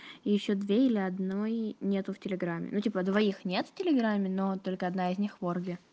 ещё две или одной нету в телеграме ну типа двоих нет в телеграме но только одна из них в орбе